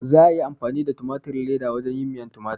Za a iya amfani da tumatirin leda wajen yin miyan tumatir